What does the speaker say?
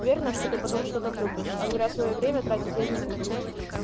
неверно что ты потом что-то купишь а зря своё время тратить я не буду